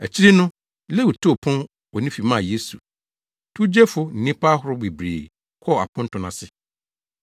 Akyiri no, Lewi too pon wɔ ne fi maa Yesu. Towgyefo ne nnipa ahorow bebree kɔɔ aponto no ase.